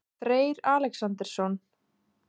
Freyr Alexandersson?